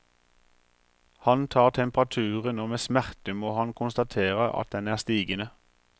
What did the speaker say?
Han tar temperaturen, og med smerte må han konstatere at den er stigende.